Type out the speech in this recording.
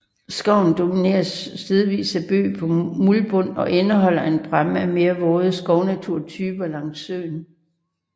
Skoven domineres stedvist af bøg på muldbund og indeholder en bræmme af mere våde skovnaturtyper langs søen